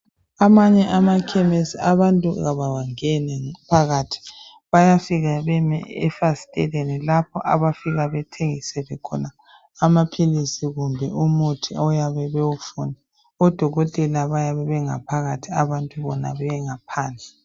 Amanye amakhemisi abantu abawangeni phakathi. Bayafika beme efasiteleni lapho abafika bethengiselwe khona amaphilisi kumbe umuthi abayabe bewufuna. Odokotela bayabe bephakathi, abantu bephandle.